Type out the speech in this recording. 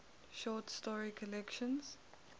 short story collection